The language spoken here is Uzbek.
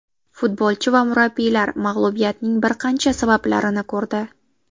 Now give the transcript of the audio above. Futbolchi va murabbiylar mag‘lubiyatning bir qancha sabablarini ko‘rdi.